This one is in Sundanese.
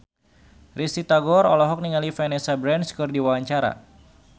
Risty Tagor olohok ningali Vanessa Branch keur diwawancara